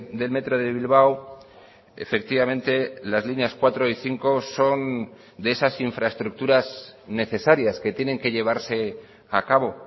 del metro de bilbao efectivamente las líneas cuatro y cinco son de esas infraestructuras necesarias que tienen que llevarse a cabo